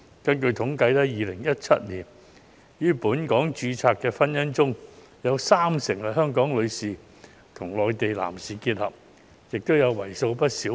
根據統計 ，2017 年於本港註冊的婚姻中，香港女士與內地男士的結合佔了三成。